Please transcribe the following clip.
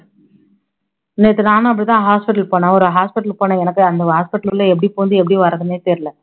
நேத்து நானும் அப்படி தான் hospital போனேன் ஒரு hospital போன எனக்கே அந்த hospital உள்ள எப்படி பூந்து எப்படி வர்றதுன்னே தெரியல